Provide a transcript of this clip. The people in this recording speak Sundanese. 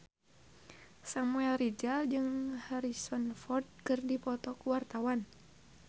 Samuel Rizal jeung Harrison Ford keur dipoto ku wartawan